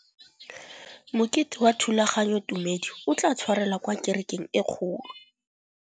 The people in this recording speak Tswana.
Mokete wa thulaganyôtumêdi o tla tshwarelwa kwa kerekeng e kgolo.